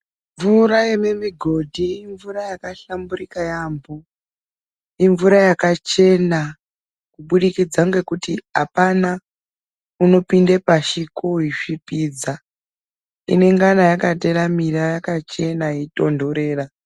Mvura yemumugodhi imvura yakahlamburuka yaambo imvura yakachena kubudikidza ngekuti apana unopinde pashi koisvipidza inengana yakachena yakateramira yeitontora.